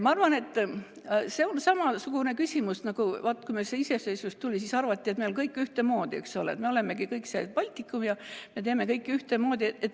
Ma arvan, et see on samasugune küsimus nagu see, et vaat, kui meil see iseseisvus tuli, siis arvati, et meil on kõik ühtemoodi, eks ole, et me olemegi kõik üks Baltikum ja me teeme kõike ühtemoodi.